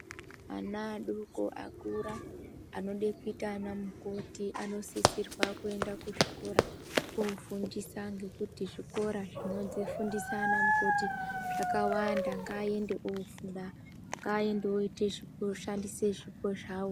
Ana adoko akura anoda kuita ana mukoti anosisirwa kuenda kuzvikora vofundisa ngekuti zvikora zvinofundisa ana mukoti zvakawanda ngaende ofunda ngaende voshandisa zvipo zvawo.